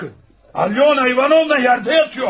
Alyona İvanovna yerdə yatıyor.